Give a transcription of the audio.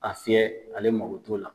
A fiyɛ ale mako t'o la.